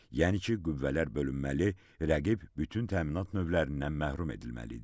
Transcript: Yəni ki, qüvvələr bölünməli, rəqib bütün təminat növlərindən məhrum edilməli idi.